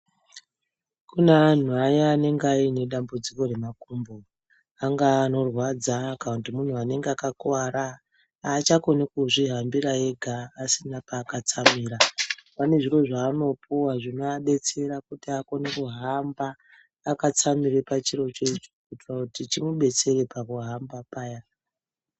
Kune anhu aya anenge anedambudziko remakumbo .Angaa anorwadza kana kuti munhu anenge akakuvara ,aachakoni kuzvihambira ega asina paakatsamira. Anezviro zvaanopuwa zvinoadetsera kuti akone kuhamba akatsamira pachiro cho ichocho kuitira chimubetsere pakuhamba paya.